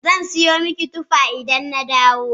Zan siyo miki tuffa idan na dawo.